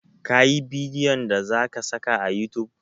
Ka yi bidiyon da za ka saka a youtube?